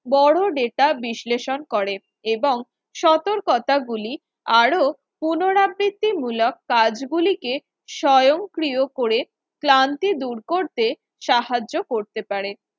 বড় data বিশ্লেষণ করে এবং সতর্কতা গুলি আরো পুনরাবৃত্তিমূলক কাজগুলিকে স্বয়ংক্রিয় করে ক্লান্তি দূর করতে সাহায্য করতে পারে